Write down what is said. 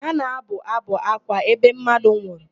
A na-abụ ábụ̀ ákwá ebe mmadụ nwụrụ.